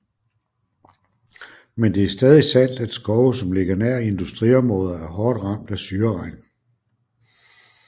Men det er stadig sandt at skove som ligger nær industriområder er hårdt ramt af syreregn